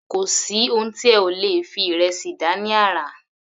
Kò sí oun tí ẹ ò lè fi ìrẹsì dá ní àrà.